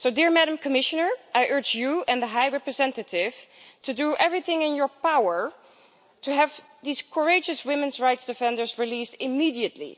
Madam Commissioner, I urge you and the High Representative to do everything in your power to have these courageous women's rights defenders released immediately.